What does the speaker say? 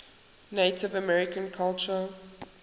native american culture